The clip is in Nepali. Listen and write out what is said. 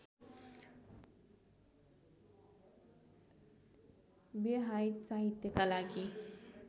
व्यहाइट साहित्यका लागि